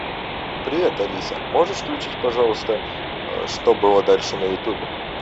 привет алиса можешь включить пожалуйста что было дальше на ютубе